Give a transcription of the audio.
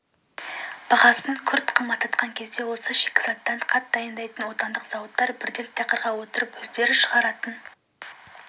бағасын күрт қымбаттатқан кезде осы шикізаттан қант дайындайтын отандық зауыттар бірден тақырға отырып өздері шығаратын